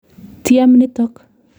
Tyem nitok.